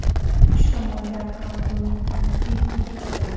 Kuch tomondan ham uning driblingi joyida.